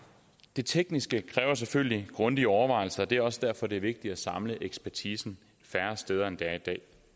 det tekniske kræver selvfølgelig grundige overvejelse og det er også derfor at det er vigtigt at samle ekspertisen færre steder end dag jeg